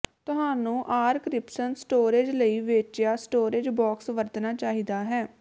ਤੁਹਾਨੂੰ ਆਰਕ੍ਰਿਪਸ਼ਨ ਸਟੋਰੇਜ ਲਈ ਵੇਚਿਆ ਸਟੋਰੇਜ਼ ਬਾਕਸ ਵਰਤਣਾ ਚਾਹੀਦਾ ਹੈ